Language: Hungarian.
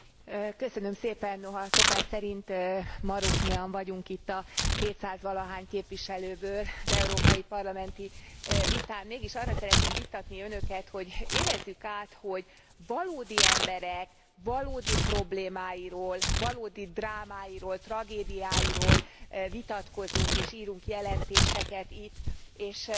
Noha szokás szerint maroknyian vagyunk itt a hétszáz valahány képviselőből az európai parlamenti vitán, mégis arra szeretném bíztatni Önöket, hogy érezzük át, hogy valódi emberek valódi problémáiról, valódi drámáiról, tragédiáiról vitatkozunk és írunk jelentéseket itt, és most, hogy a